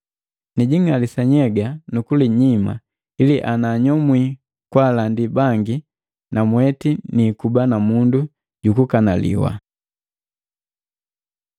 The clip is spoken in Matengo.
Nijing'alisa nhyega nukulinyima ili ananyomwi kwaalandi bangi namweti niikuba na mundu jukukanaliwa.